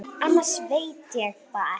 Annars veit ég það ekki.